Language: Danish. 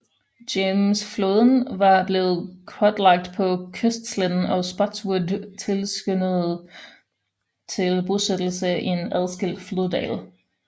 James Floden var blevet kortlagt på kystsletten og Spotswood tilskyndede til bosættelse i en adskilt floddal